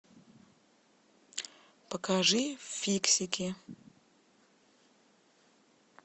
покажи фиксики